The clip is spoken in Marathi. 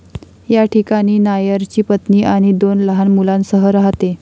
या ठिकाणी नायरची पत्नी आणि दोन लहान मुलांसह राहते.